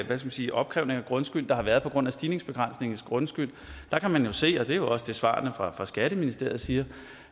man sige opkrævning af grundskyld der har været på grund af stigningsbegrænsningen på grundskyld kan man jo se og det er jo også det svarene fra fra skatteministeriet siger